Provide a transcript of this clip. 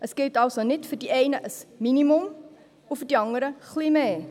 Es gilt also nicht für die einen ein Minimum und für die anderen ein wenig mehr.